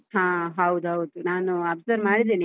ಹಾ ಹೌದೌದು ನಾನು observe ಮಾಡಿದ್ದೇನೆ .